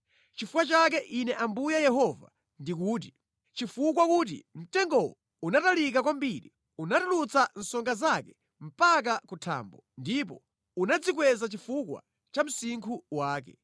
“ ‘Nʼchifukwa chake Ine Ambuye Yehova ndikuti: Chifukwa kuti mtengowo unatalika kwambiri, unatulutsa songa zake mpaka ku thambo, ndipo unadzikweza chifukwa cha msinkhu wake,